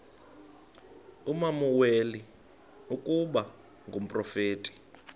usamuweli ukuba ngumprofeti